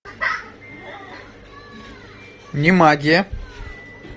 не магия